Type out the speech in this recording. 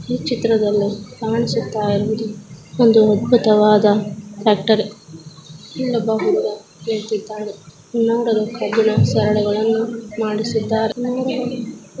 ಈ ಚಿತ್ರದಲ್ಲಿ ಕಾಣಿಸುತ್ತ ಇರುವುದು ಒಂದು ಅದ್ಭುತವಾದ ಟ್ರ್ಯಾಕ್ಟರ್ . ಇಲ್ಲಿ ಒಬ್ಬ ಹುಡುಗ ನಿಂತಿದ್ದಾನೆ. ನೋಡಲು ಕಬ್ಬಿಣ ಸರಡುಗಳನ್ನು ಮಾಡಿಸಿದ್ದಾರೆ.